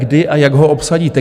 Kdy a jak ho obsadíte?